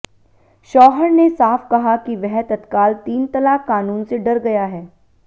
शौहर ने साफ कहा कि वह तत्काल तीन तलाक कानून से डर गया है